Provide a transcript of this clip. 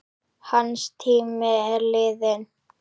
Hans tími er liðinn.